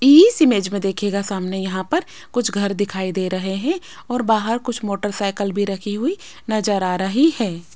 इस इमेज में देखिएगा सामने यहां पर कुछ घर दिखाई दे रहे हैं और बाहर कुछ मोटरसाइकिल भी रखी हुई नजर आ रही हैं।